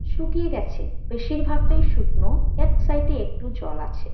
শুকিয়ে গেছে বেশির ভাগ টাই শুকনো এক সাইড -এ একটু জল আছে।